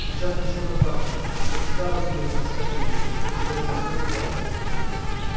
сейчас начнутся танцы и как всегда разумеется с кадрили за которой последует вальс